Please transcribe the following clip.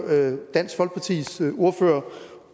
dansk folkepartis ordfører